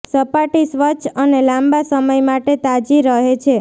સપાટી સ્વચ્છ અને લાંબા સમય માટે તાજી રહે છે